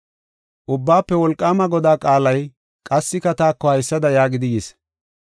Ubbaafe Wolqaama Godaa qaalay qassika taako haysada yaagidi yis: